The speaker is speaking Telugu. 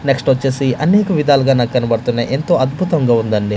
నెక్స్ట్ ఒచ్చేసి అనేక విధాలుగా నాకు కనబడుతున్నాయి ఎంతో అద్భుతంగా ఉందండి.